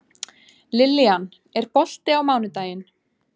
Lillian, er bolti á mánudaginn?